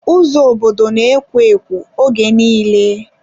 Ụzọ obodo na-ekwo ekwo oge nille.